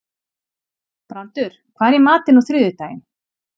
Brandur, hvað er í matinn á þriðjudaginn?